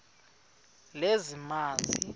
lezamanzi